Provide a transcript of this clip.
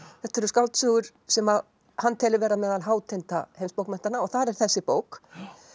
þetta eru skáldsögur sem hann telur vera meðal heimsbókmenntanna og þar er þessi bók